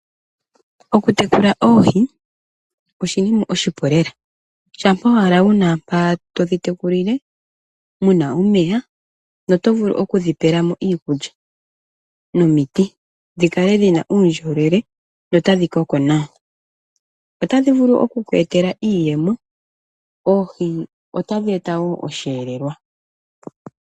Okutekula oohi oshinima oshipu lela shampa owala wu na mpoka todhi tekulile mu na uumeya notodhi vulu okudhi pela mo iikulya nomiti dhi kale dhi na uundjolowele notadhi koko nawa. Otadhi vulu oku ku etela iiyemo. Oohi otadhi eta woo oshihelelwa.